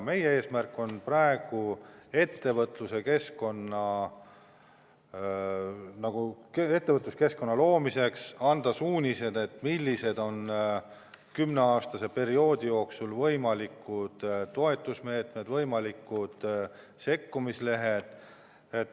Meie eesmärk on anda ettevõtluskeskkonna loomiseks suunised, millised on kümne aasta pikkuse perioodi jooksul võimalikud toetusmeetmed, võimalikud sekkumised.